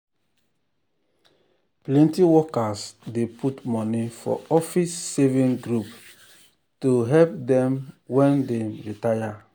plenty workers dey put money for office savings group to to help dem um when dem retire. um